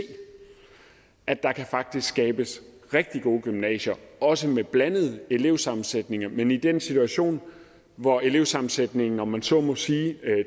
at der faktisk kan skabes rigtig gode gymnasier også med blandede elevsammensætninger men i den situation hvor elevsammensætningen om man så må sige